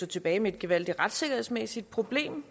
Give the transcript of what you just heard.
tilbage med et gevaldigt retssikkerhedsmæssigt problem